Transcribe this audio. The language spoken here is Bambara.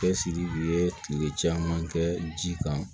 Cɛsiri ye kile caman kɛ ji kan